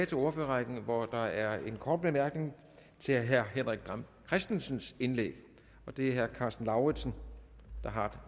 til ordførerrækken hvor der er en kort bemærkning til herre henrik dam kristensens indlæg det er herre karsten lauritzen der har